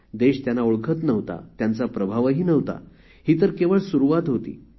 देश त्यांना ओळखत नव्हता त्यांचा प्रभावही नव्हता ही तर केवळ सुरुवात होती